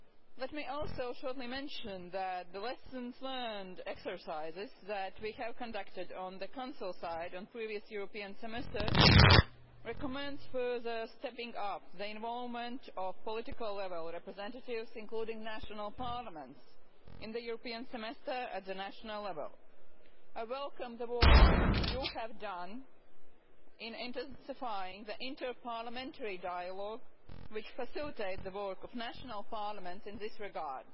Let me also mention that the lessons-learned exercises that we have conducted, on the Council side, on previous European Semesters recommend further stepping-up of the involvement of political level representatives, including national parliaments, in the European Semester at the national level. I welcome the work you have done in intensifying the interparliamentary dialogue which facilitates the work of national parliaments in this regard.